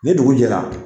Ni dugu jɛra